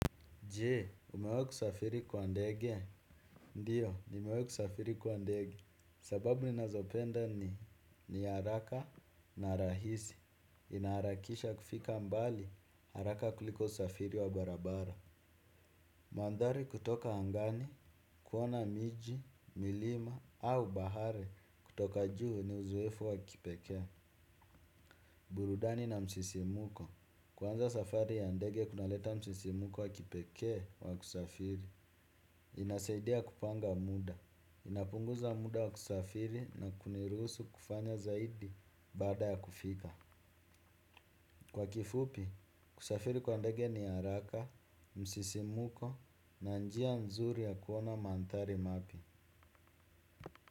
Je, umewai kusafiri kwa ndege? Ndiyo, nimewai kusafiri kwa ndege. Sababu ninazopenda ni ni haraka na rahisi. Inaharakisha kufika mbali haraka kuliko usafiri wa barabara. Mandari kutoka angani kuona miji, milima au bahari kutoka juu ni uzoefu wa kipekee. Burudani na msisimuko. Kwanza safari ya ndege kunaleta msisimuko wa kipeke wa kusafiri. Inasaidia kupanga muda, inapunguza muda wa kusafiri na kuniruhusu kufanya zaidi baada ya kufika. Kwa kifupi, kusafiri kwa ndege ni haraka, msisimuko na njia nzuri ya kuona manthari mapya.